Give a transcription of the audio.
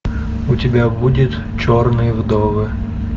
у тебя будет черные вдовы